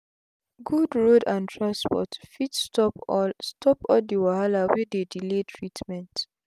good road and transport fit stop all stop all d wahala wey dey delay treatment